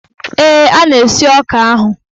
Ee, a na-esi ọka ahụ.